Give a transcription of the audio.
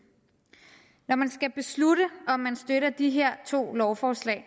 når man skal beslutte om man støtter de her to lovforslag